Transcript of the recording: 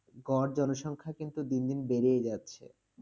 গড় জনসংখ্যা কিন্তু দিন দিন বেড়েই যাচ্ছে।